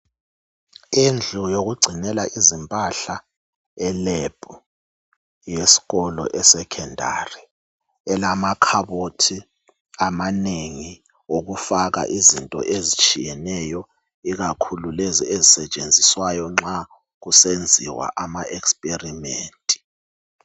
Indlu yokugcinela izimpahla elab yeskolo esecondary elama khabothi amanengi okufaka izinto ezitshiyeneyo ikakhulu lezo ezisetshenziswayo ikakhulu makusenziwa ama experiment.